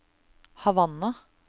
Havanna